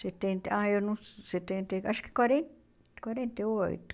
setenta, ah eu não sei, setenta e... Acho que quaren quarenta e oito.